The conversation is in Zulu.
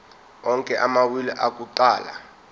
onke amawili akuqala